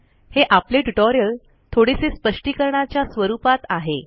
हे आपले ट्युटोरियल थोडेसे स्पष्टीकरणाच्या स्वरूपात आहे